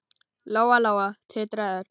Lóa-Lóa titraði öll.